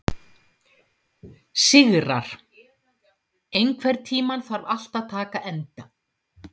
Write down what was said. Sigarr, einhvern tímann þarf allt að taka enda.